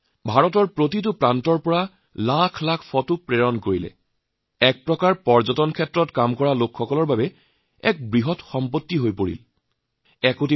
ভাৰতৰ প্ৰতিটো কোণৰ পৰা লাখ লাখ ফটো পৰ্যটন ক্ষেত্ৰত একৰকম এনেকৈ কাম কৰে তেওঁলোকৰ এক বিশাল সম্পদ হৈ উঠিছে